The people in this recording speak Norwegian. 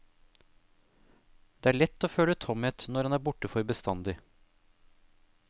Det er lett å føle tomhet når han er borte for bestandig.